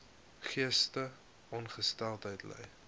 geestesongesteldheid ly